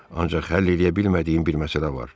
Ancaq həll eləyə bilmədiyim bir məsələ var.